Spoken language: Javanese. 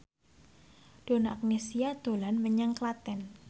Donna Agnesia dolan menyang Klaten